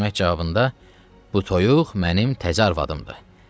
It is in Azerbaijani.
Əhməd cavabında bu toyuq mənim təzə arvadımdır.